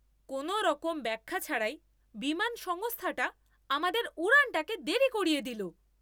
কোনওরকম ব্যাখ্যা ছাড়াই বিমান সংস্থাটা আমাদের উড়ানটাকে দেরি করিয়ে দিল।